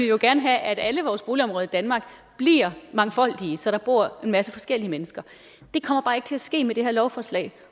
jo gerne have at alle vores boligområder i danmark bliver mangfoldige så der bor en masse forskellige mennesker det kommer bare ikke til at ske med det her lovforslag